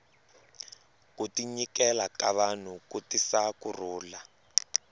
ku tinyikela ka vanhu ku tisa ku rhulu